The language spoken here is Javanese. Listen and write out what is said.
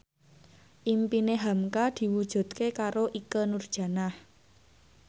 impine hamka diwujudke karo Ikke Nurjanah